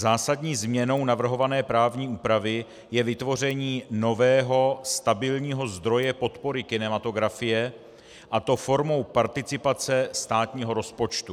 Zásadní změnou navrhované právní úpravy je vytvoření nového stabilního zdroje podpory kinematografie, a to formou participace státního rozpočtu.